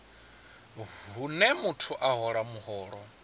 hune muthu a hola muholo